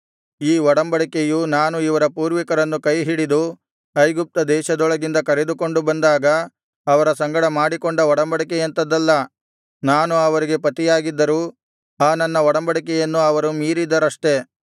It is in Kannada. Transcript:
ಈ ಒಡಂಬಡಿಕೆಯು ನಾನು ಇವರ ಪೂರ್ವಿಕರನ್ನು ಕೈ ಹಿಡಿದು ಐಗುಪ್ತ ದೇಶದೊಳಗಿಂದ ಕರೆದುಕೊಂಡು ಬಂದಾಗ ಅವರ ಸಂಗಡ ಮಾಡಿಕೊಂಡ ಒಡಂಬಡಿಕೆಯಂಥದಲ್ಲ ನಾನು ಅವರಿಗೆ ಪತಿಯಾಗಿದ್ದರೂ ಆ ನನ್ನ ಒಡಂಬಡಿಕೆಯನ್ನು ಅವರು ಮೀರಿದರಷ್ಟೆ